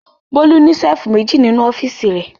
Bólú ní ṣẹ́lífù méjì nínú ọ́fíísì rẹ̀.